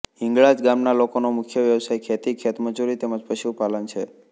હિંગળાજ ગામના લોકોનો મુખ્ય વ્યવસાય ખેતી ખેતમજૂરી તેમ જ પશુપાલન છે